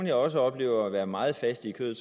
jeg også oplever være meget faste i kødet